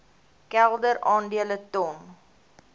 kelder aandele ton